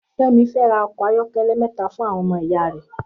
Femi fè rà òkò áyòkèlè mètá fún áwòn òmò ìyá rè